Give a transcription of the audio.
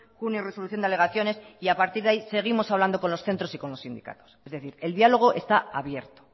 junio resolución de alegaciones y a partir de ahí seguimos hablando con los centros y con los sindicatos es decir el diálogo está abierto